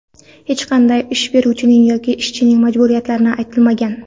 Hech qanday ish beruvchining yoki ishchining majburiyatlari aytilmagan.